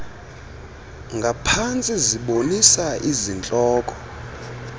ngaphantsi zibonisa izihloko